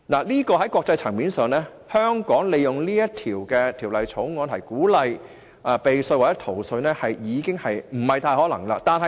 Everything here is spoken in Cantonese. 在國際層面上，香港利用《條例草案》鼓勵避稅或逃稅已屬不可能。